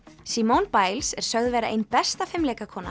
simone Biles er sögð vera ein besta